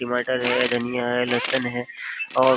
टमाटर है धनिया है लहसुन है और --